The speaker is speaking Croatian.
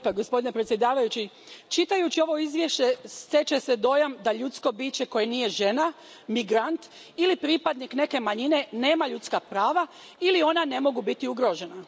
Poštovani predsjedavajući, čitajući ovo izvješće stječe se dojam da ljudsko biće koje nije žena, migrant ili pripadnik neke manjine nema ljudska prava ili ona ne mogu biti ugrožena.